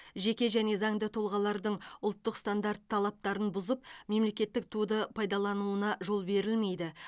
жеке және заңды тұлғалардың ұлттық стандарт талаптарын бұзып мемлекеттік туды пайдалануына жол берілмейді